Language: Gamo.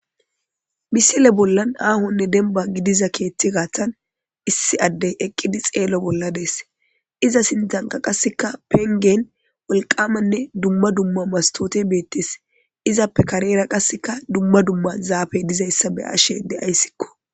misile bollan aahonne demba gidiza keeththi gaaththan issi addey eqqidi xeelo bolla dees iza sinthanka qasseka pengen woliqamanne dumma dumma masitootey betees izappe kareera qasseka dumma dumma zaafey dizayssa be ashe deayssikko